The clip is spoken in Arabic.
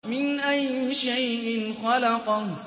مِنْ أَيِّ شَيْءٍ خَلَقَهُ